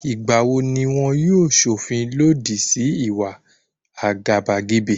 Ìgbà wo ni wọn yóò ṣọ̀fin lòdì sí ìwà àgàbàgebè?